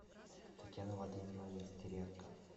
татьяна владимировна нестеренко